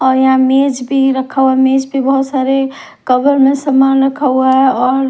और यहां मेज भी रखा हुआ मेज पे बहुत सारे कवर में सामान रखा हुआ है और--